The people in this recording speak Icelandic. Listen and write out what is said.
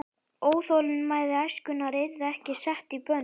Óþolinmæði æskunnar yrði ekki sett í bönd.